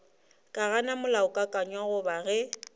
ka gana molaokakanywa goba ge